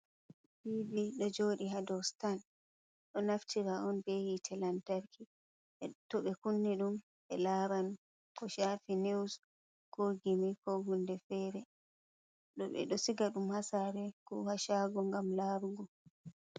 Tivi do jodi hado stan. Ɗo naftira on be hite lantarki to ɓe kunni dum be laran ko shafi news, ko gimi, ko hunde fere. dobe ɗo siga dum hasare ko hashago gam larugo.